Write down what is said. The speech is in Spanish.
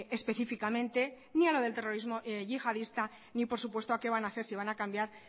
específicamente ni a lo del terrorismo yihadista ni por supuesto a qué van a hacer si van a cambiar